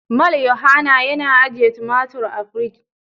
Mal yohanna yana ajiye tumatur a fridge.